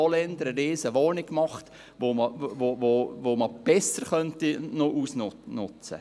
So haben zum Beispiel Holländer eine grosse Wohnung eingerichtet, die besser genutzt werden könnte.